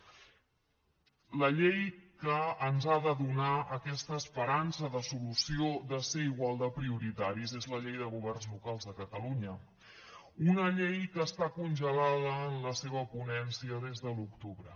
la llei que ens ha de donar aquesta esperança de solució de ser igual de prioritaris és la llei de governs locals de catalunya una llei que està congelada en la seva ponència des de l’octubre